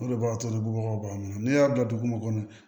O de b'a to ni bubagaw b'a n'u y'a bila dugu mun kɔnɔ